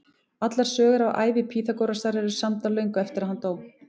Allar sögur af ævi Pýþagórasar eru samdar löngu eftir að hann dó.